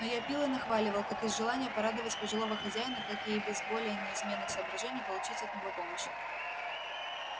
но я пил и нахваливал как из желания порадовать пожилого хозяина так и из более низменных соображений получить от него помощь